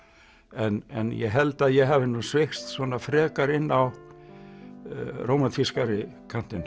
en ég held að ég hafi nú sveigst svona frekar inn á rómantískari kantinn